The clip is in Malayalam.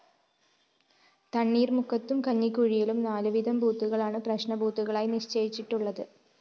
തണ്ണീര്‍മുക്കത്തും കഞ്ഞിക്കുഴിയിലും നാലുവീതം ബൂത്തുകളാണ് പ്രശ്‌ന ബൂത്തുകളായി നിശ്ചയിച്ചിട്ടുള്ളത്